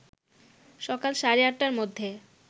সকাল সাড়ে ৮টার মধ্যে